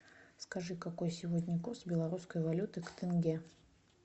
скажи какой сегодня курс белорусской валюты к тенге